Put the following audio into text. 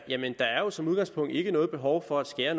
jamen der er jo som udgangspunkt ikke noget behov for at skære